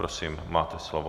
Prosím, máte slovo.